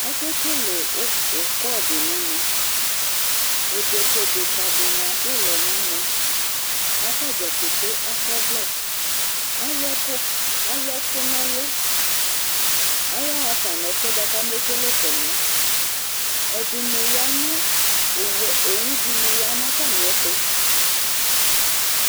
Akekele u ukɔ di n'ɛmɛ Edeke edeka dini adu'lɔ n'ɛmɛ k'ata dza keke akɔ'ʋlɛ Alu ɛku alu ɛku n'ɛlu, aya ɣa fa n'ɛfuɛ bua k'ame kele kɔnu'ɛ Ɛdini ya nu owue owu dini ya n'atami ɛtu